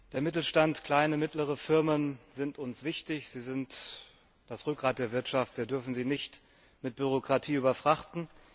Der Mittelstand, kleine und mittlere Firmen sind uns wichtig, sie sind das Rückgrat der Wirtschaft, wir dürfen sie nicht mit Bürokratie überfrachten.